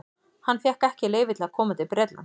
Hann fékk ekki leyfi til að koma til Bretlands.